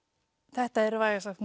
þetta er vægast sagt